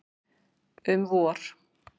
Um vor.